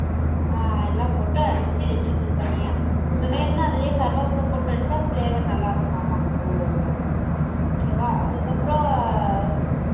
அஹ் எல்லாம் போட்டு அடிச்சு எடுத்து வெச்சக்கனும் தனிய உனக்கு வேணும்னா அதுலையே கருவப்புள் போட்டு அடிச்சா flavor நல்ல இருக்கும்மா okay வா அதுக்கு அப்பறோ